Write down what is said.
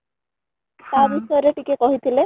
ତା ବିଷୟ ରେ ଟିକେ କହି ଥିଲେ